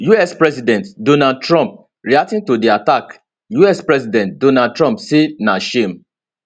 us president donald trump reacting to di attack us president donald trump say na shame